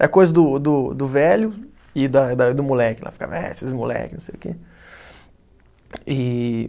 Era coisa do do do velho e da da do moleque, lá ficava, é, esses moleque, não sei o quê. E